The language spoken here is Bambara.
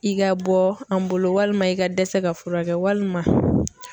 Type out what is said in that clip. I ka bɔ an bolo walima i ka dɛsɛ ka furakɛ walima.